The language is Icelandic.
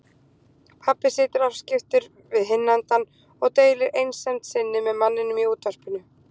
Pabbi situr afskiptur við hinn endann og deilir einsemd sinni með manninum í útvarpinu.